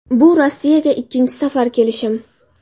Bu Rossiyaga ikkinchi safar kelishim.